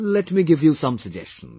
Let me give you some suggestions